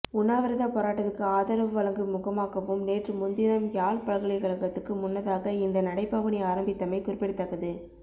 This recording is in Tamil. உண்ணாவிரத போராட்டத்துக்கு ஆதரவு வழங்கும் முகமாகவும் நேற்றுமுந்தினம் யாழ் பல்கலைக்கழகத்துக்கு முன்னதாக இந்த நடைபவனி ஆரம்பித்தமை குறிப்பிடத்தக்கது